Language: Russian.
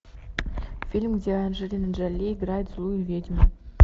фильм где анджелина джоли играет злую ведьму